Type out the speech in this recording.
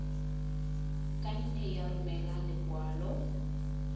ka nne ya romela lekwalo